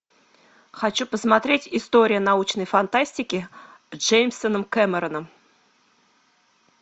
хочу посмотреть история научной фантастики с джеймсом кэмероном